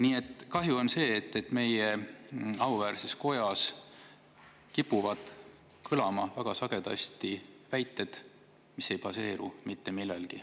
Nii et on kahju, et meie auväärses kojas kipuvad väga sagedasti kõlama väited, mis ei baseeru mitte millelgi.